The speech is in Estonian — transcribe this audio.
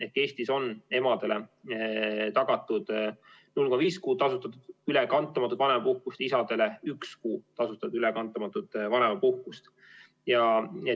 Ehk Eestis on emadele tagatud 0,5 kuud tasustatud ülekantamatut vanemapuhkust, isadele üks kuu tasustatud ülekantamatut vanemapuhkust.